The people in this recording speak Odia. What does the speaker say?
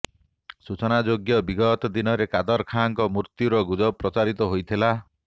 ସୂଚନାଯୋଗ୍ୟ ବିଗତ ଦିନରେ କାଦର ଖାନଙ୍କ ମୃତ୍ୟୁର ଗୁରଜ ପ୍ରଚାରିତ ହୋଇଥିଲା